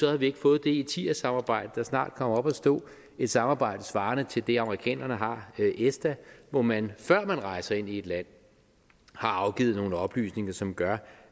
havde vi ikke fået det etias samarbejde der snart kommer op at stå et samarbejde svarende til det amerikanerne har med esta hvor man før man rejser ind i et land har afgivet nogle oplysninger som gør